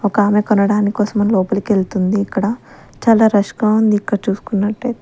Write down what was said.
ఒక ఆమె కొనడాని కోసమని లోపలికి వెళ్తుంది ఇక్కడ చాలా రష్ గా ఉంది ఇక్కడ చూసుకున్నట్టయి--